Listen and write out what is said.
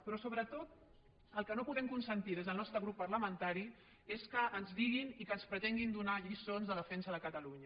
però sobretot el que no podem consentir des del nostre grup parlamentari és que ens diguin i que ens pretenguin donar lliçons de defensa de catalunya